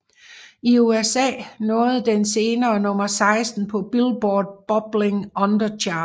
I USA nåede den senere nummer 16 på Billboard Bubbling Under Chart